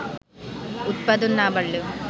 উৎপাদন না বাড়লেও